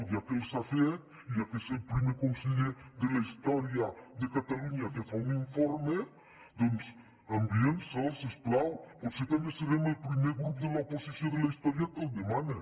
ja que els ha fet i ja que és el primer conseller de la història de catalunya que fa un informe doncs enviï’ns el si us plau potser també serem el primer grup de l’oposició de la història que el demana